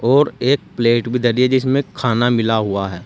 और एक प्लेट भी डली है जिसमें खाना मिला हुआ है।